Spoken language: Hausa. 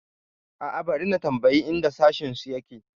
A'a, bari na tambayi inda sashensu yake.